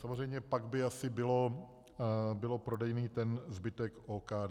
Samozřejmě pak by asi byl prodejný ten zbytek OKD.